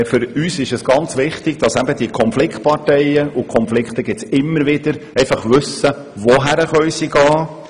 Für uns ist ganz wichtig, dass die Konfliktparteien wissen, wohin sie gehen können und welche Stellen vorhanden sind.